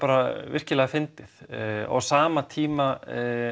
virkilega fyndið á sama tíma